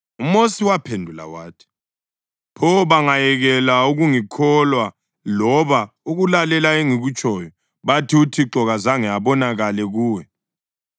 UMosi waphendula wathi, “Pho bangayekela ukungikholwa loba ukulalela engikutshoyo bathi, ‘ uThixo kazange abonakale kuwe’?”